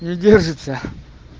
не держится